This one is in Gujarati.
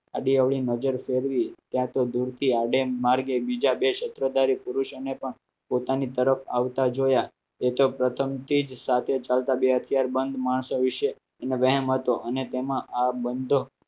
આડી અવળી નજર ફેરવી ત્યાં તો દૂરથી આ ડેમ માર્ગે બીજા બે સ્ત્રહ તારીખ પુરુષોને પણ પોતાની તરફ આવતા જોયા એ તો પ્રથમ તે જ સાથે ચાલતા બે અત્યાર બંધ માણસો વિશે અને વહેમ હતો અને તેમાં આ બંધ